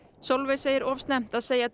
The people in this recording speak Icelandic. Sólveig segir of snemmt að segja